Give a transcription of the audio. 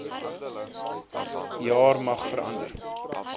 jaar mag verander